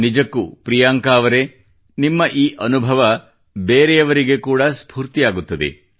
ನಿಜಕ್ಕೂ ಪ್ರಿಯಾಂಕಾ ಅವರೆ ನಿಮ್ಮ ಈ ಅನುಭವ ಬೇರೆಯವರಿಗೆ ಕೂಡಾ ಸ್ಫೂರ್ತಿಯಾಗುತ್ತದೆ